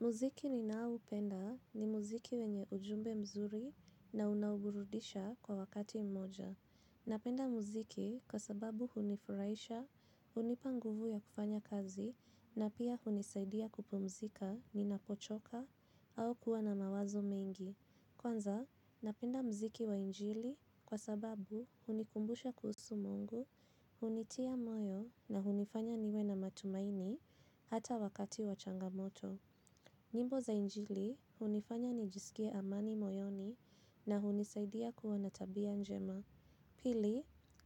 Muziki ninaoupenda ni muziki wenye ujumbe mzuri na unaoburudisha kwa wakati mmoja. Napenda muziki kwa sababu hunifurahisha, hunipa nguvu ya kufanya kazi na pia hunisaidia kupumzika ninapochoka au kuwa na mawazo mengi. Kwanza, napenda muziki wa injili kwa sababu hunikumbusha kuhusu Mungu, hunitia moyo na hunifanya niwe na matumaini hata wakati wa changamoto. Nyimbo za injili hunifanya nijisikie amani moyoni na hunisaidia kuwa na tabia njema. Pili,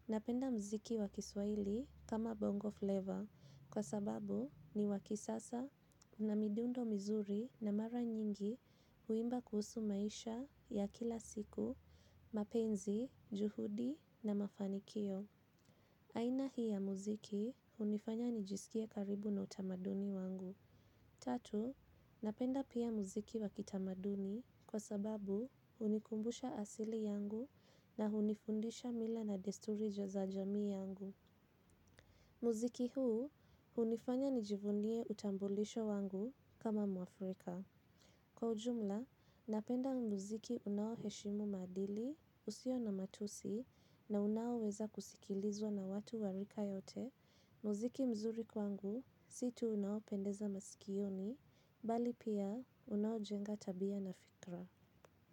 napenda mziki wa kiswaili kama bongo flavor kwa sababu ni wa kisasa na midundo mizuri na mara nyingi huimba kuhusu maisha ya kila siku, mapenzi, juhudi na mafanikio. Aina hii ya muziki hunifanya nijisikie karibu na utamaduni wangu. Tatu, napenda pia muziki wa kitamaduni kwa sababu hunikumbusha asili yangu na hunifundisha mila na desturi za jamii yangu. Muziki huu hunifanya nijivunie utambulisho wangu kama mwafrika. Kwa ujumla, napenda muziki unaoheshimu maadili, usio na matusi na unawoweza kusikilizwa na watu wa rika yote. Muziki mzuri kwangu si tu unaopendeza masikioni bali pia unaojenga tabia na fikra.